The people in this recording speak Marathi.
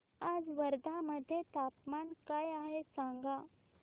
आज वर्धा मध्ये तापमान काय आहे सांगा